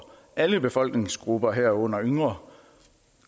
alle befolkningsgrupper herunder yngre